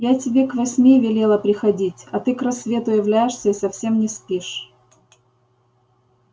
я тебе к восьми велела приходить а ты к рассвету являешься и совсем не спишь